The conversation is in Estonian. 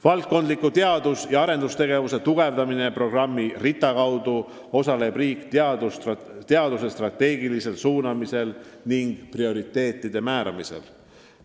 Valdkondliku teadus- ja arendustegevuse tugevdamise programmi RITA kaudu osaleb riik teaduse strateegilisel suunamisel ning prioriteetide määramisel.